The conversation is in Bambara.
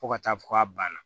Fo ka taa fɔ k'a banna